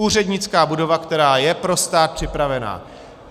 Úřednická budova, která je pro stát připravena.